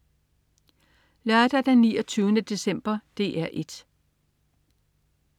Lørdag den 29. december - DR 1: